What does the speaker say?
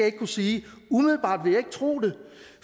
ikke kunne sige umiddelbart vil jeg ikke tro det